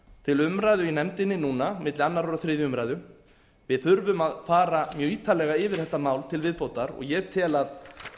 til umræðu í nefndinni núna milli annars og þriðju umræðu við þurfum að fara mjög ítarlega yfir þetta mál til viðbótar og ég tel að